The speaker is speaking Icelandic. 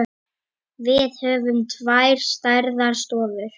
Við höfum tvær stærðar stofur.